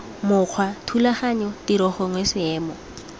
mokgwa thulaganyo tiro gongwe seemo